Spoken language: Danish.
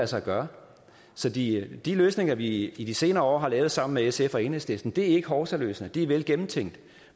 sig gøre så de de løsninger vi i de senere år har lavet sammen med sf og enhedslisten er ikke hovsaløsninger de er velgennemtænkte